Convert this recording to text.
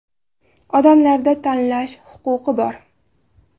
Odamlarda tanlash huquqi bor.